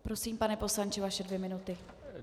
Prosím, pane poslanče, vaše dvě minuty.